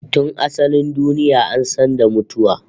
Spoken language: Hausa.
Tun asalin duniya an san da mutuwa